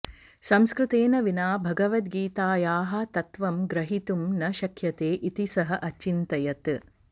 संस्कृतेन विना भगवद्गीतायाः तत्त्वं ग्रहीतुं न शक्यते इति सः अचिन्तयत्